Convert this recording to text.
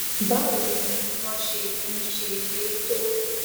báwo ni wón ṣe ń ṣe é tó